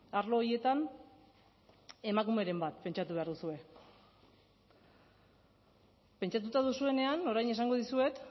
arlo horietan emakumeren bat pentsatu behar duzue pentsatuta duzuenean orain esango dizuet